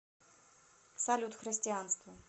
салют христианство